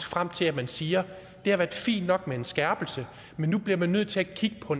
frem til at man siger det har været fint nok med en skærpelse men nu bliver man nødt til at kigge på